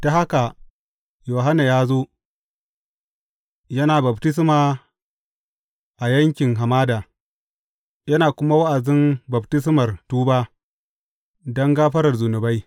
Ta haka Yohanna ya zo, yana baftisma a yankin hamada, yana kuma wa’azin baftismar tuba don gafarar zunubai.